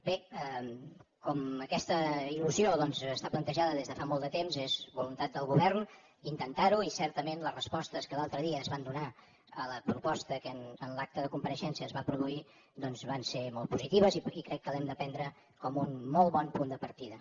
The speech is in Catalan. bé com aquesta il·lusió està plantejada des de fa molt de temps és voluntat del govern intentar ho i certament les respostes que l’altre dia es van donar a la proposta que en l’acte de compareixença es va produir doncs van ser molt positives i crec que l’hem de prendre com un molt bon punt de partida